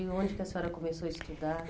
E onde que a senhora começou a estudar?